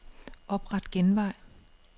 Opret genvej.